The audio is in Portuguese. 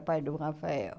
O pai do Rafael.